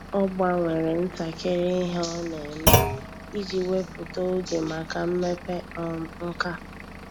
Ọ́ gbanwere ntakịrị ihe ọ́ nà-ème iji wèpụ́tá oge màkà mmepe um nkà.